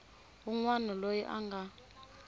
wun wana loyi a nga